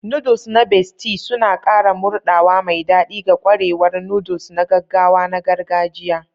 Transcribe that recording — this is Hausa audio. Noodles na Bestie suna ƙara murɗawa mai daɗi ga ƙwarewar noodles na gaggawa na gargajiya.